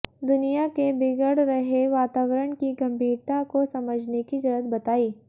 दुनिया के बिगड़ रहे वातावरण की गंभीरता को समझने की जरूरत बताई